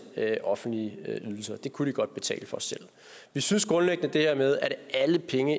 offentlige ydelser det kunne de godt betale for selv vi synes grundlæggende det her med at alle penge